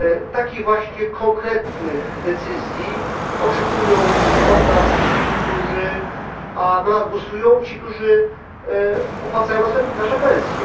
Takich właśnie konkretnych decyzji oczekują od nas ci, którzy na nas głosują, którzy opłacają nasze pensje.